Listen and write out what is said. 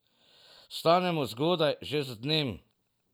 Vstanemo zgodaj, že z dnem.